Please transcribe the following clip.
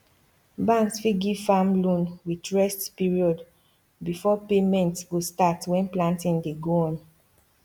banks fit give farm loan with rest period before payment go start when planting dey go on